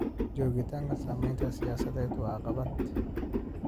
Joogitaanka saamaynta siyaasadeed waa caqabad.